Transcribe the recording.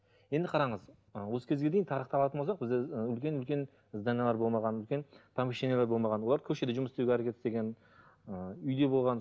енді қараңыз ы осы кезге дейін үлкен үлкен зданиелер болмаған үлкен помещениелер болмаған олар көшеде жұмыс істеуге әрекет істеген ы үйде болған